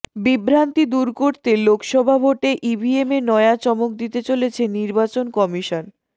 বিভ্রান্তি দূর করতে লোকসভা ভোটে ইভিএমে নয়া চমক দিতে চলেছে নির্বাচন কমিশন